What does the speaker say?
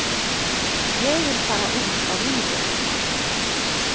Ég vil fara út á lífið.